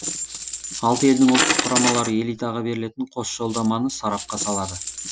алты елдің ұлттық құрамалары элитаға берілетін қос жолдаманы сарапқа салады